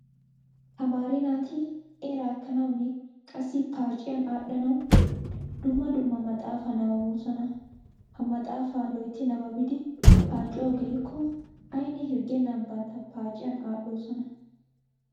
Tamaare naati eraa ekkanawunne qassi paaciyan aadhdhanawu dumma dumma maxaafaa nabbaboosona. Ha maxaafaa loytti nabbabidi paaciyawu gelikko aynne hirggennan bantta paaciyan aadhdhoosona.